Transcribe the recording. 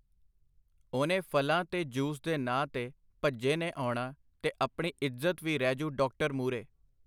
ਓਹਨੇ ਫਲਾਂ ਤੇ ਜੂਸ ਦੇ ਨਾਂ ਤੇ ਭੱਜੇ ਨੇ ਆਉਣਾ ਤੇ ਆਪਣੀ ਇੱਜ਼ਤ ਵੀ ਰਹਿਜੂ ਡਾਕਟਰ ਮੂਹਰੇ.